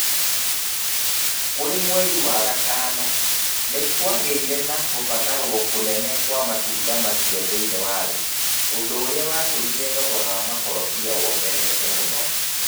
Kũrĩ mweri wa Gatano, nĩ kwagĩire na gũbatarũo kũnene wa matunda macio thĩinĩ wa thĩ, ũndũ ũrĩa watũmire thogora wa makorobia wongerereke mũno.